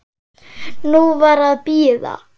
Nú var að bíða.